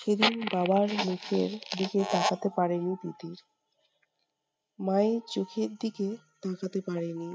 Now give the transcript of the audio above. সেদিন বাবার মুখের দিকে তাকাতে পারেনি তিতির। মায়ের চোখের দিকে তাকাতে পারেনি।